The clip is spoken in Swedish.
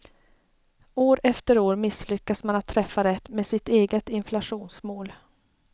År efter år misslyckas man att träffa rätt med sitt eget inflationsmål.